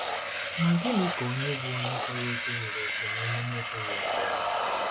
Ma gịnị ka ònye bụ́ onye kwere ekwe nwere òkè na onye na-ekweghị ekwe?